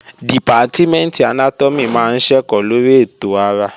Dìpátímẹ̀ntì Anátọ́mì máa ń ṣẹ̀kọ́ lórí ètò ara